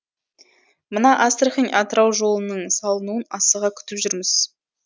мына астрахань атырау жолының салынуын асыға күтіп жүрміз